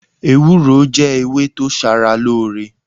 Ewúró jẹ́ ewé tó ṣaralóore.